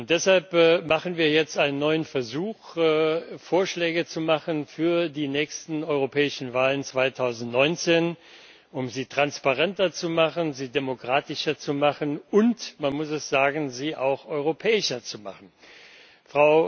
Deshalb machen wir jetzt einen neuen Versuch, Vorschläge zu unterbreiten für die nächsten europäischen Wahlen 2019, um sie transparenter und demokratischer zu gestalten und man muss es sagen sie auch europäischer zu gestalten.